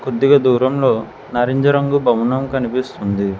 కొద్దిగా దూరంలో నారెంజ రంగు భవనం కనిపిస్తుంది.